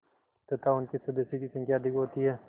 तथा उनके सदस्यों की संख्या अधिक होती है